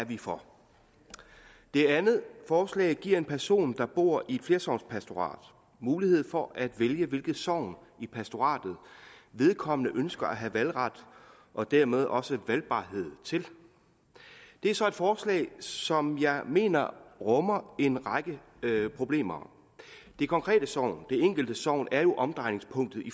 vi for det andet forslag giver en person der bor i et flersognspastorat mulighed for at vælge hvilket sogn i pastoratet vedkommende ønsker at have valgret og dermed også valgbarhed til det er så et forslag som jeg mener rummer en række problemer det konkrete sogn det enkelte sogn er jo omdrejningspunktet i